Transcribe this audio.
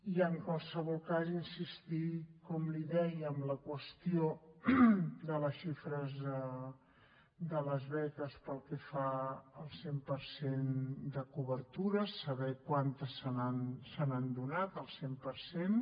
i en qualsevol cas insistir com li deia en la qüestió de la xifra de les beques pel que fa al cent per cent de cobertura saber quantes se n’han donat al cent per cent